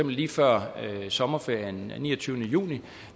lige før sommerferien den niogtyvende juni